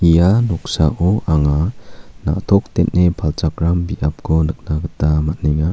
ia noksao anga na·tok den·e palchakram biapko nikna gita man·enga.